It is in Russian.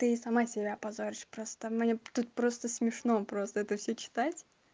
ты сама себя позоришь просто мне тут просто смешно просто это всё читать